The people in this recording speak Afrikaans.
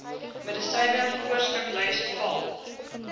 medisyne voorskriflys val